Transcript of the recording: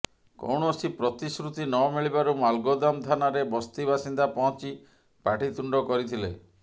କୌଣସି ପ୍ରତିଶ୍ରୁତି ନମିିଳିବାରୁ ମାଲ୍ଗୋଦାମ ଥାନାରେ ବସ୍ତି ବାସିନ୍ଦା ପହଞ୍ଚି ପାଟିତୁଣ୍ଡ କରିଥିଲେ